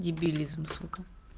дебилизм сука